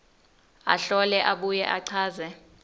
ahlole abuye achaze